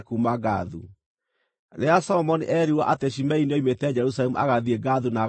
Rĩrĩa Solomoni eerirwo atĩ Shimei nĩoimĩte Jerusalemu agathiĩ Gathu na agacooka-rĩ,